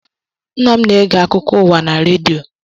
Nna m na-ege akụkọ uwa na rediọ.